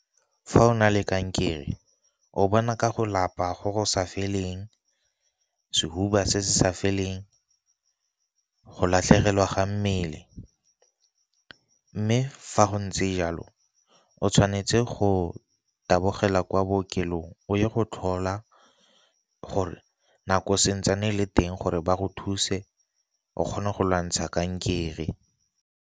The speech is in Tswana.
Fa o na le kankere o bona ka go lapa go go sa feleng, sehuba se se sa feleng, go latlhegelwa ga mmele. Mme fa go tse jalo o tshwanetse go tabogela kwa bookelong o ye go tlhola gore nako santsane le teng, gore ba go thuse o kgone go lwantsha kankere.